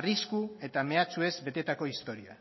arrisku eta mehatxu ez betetako historia